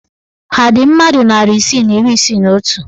Ha dị mmadụ narị isii na iri isii na otu?